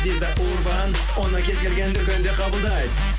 виза урбан оны кез келген дүкенде қабылдайды